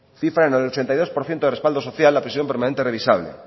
cifra en ochenta y dos por ciento de respaldo social la prisión permanente revisable